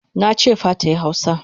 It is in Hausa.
Nache fa tayi hausa!